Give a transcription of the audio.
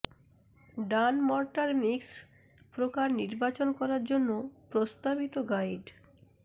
ডান mortar mix প্রকার নির্বাচন করার জন্য প্রস্তাবিত গাইড